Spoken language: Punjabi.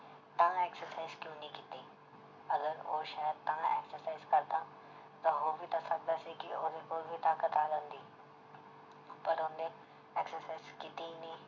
ਤਾਂ exercise ਕਿਉਂ ਨੀ ਕੀਤੀ ਅਗਰ ਉਹ ਸ਼ਾਇਦ ਤਾਂ exercise ਕਰਦਾ ਤਾਂ ਹੋ ਵੀ ਤਾਂ ਸਕਦਾ ਸੀ ਕਿ ਉਹਦੇ ਕੋਲ ਵੀ ਤਾਕਤ ਆ ਜਾਂਦੀ ਪਰ ਉਹਨੇ exercise ਕੀਤੀ ਹੀ ਨੀ।